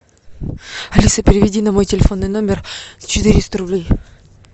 алиса переведи на мой телефонный номер четыреста рублей